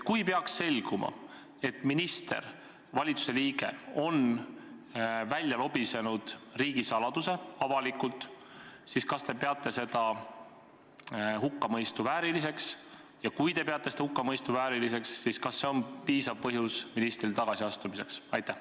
Kui peaks selguma, et minister, valitsuse liige, on riigisaladuse avalikult välja lobisenud, siis kas te peate seda hukkamõistu vääriliseks, ja kui te peate seda hukkamõistu vääriliseks, siis kas see on teie arvates ka piisav põhjus ministri tagasiastumiseks?